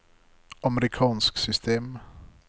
amerikansk system